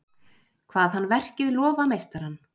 Kvað hann verkið lofa meistarann.